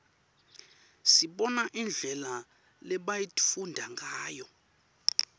sibona indlela lebayitfunga ngayo